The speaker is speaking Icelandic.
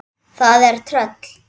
Það er tröll.